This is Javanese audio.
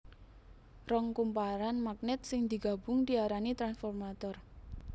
Rong kumparan magnèt sing digabung diarani transformator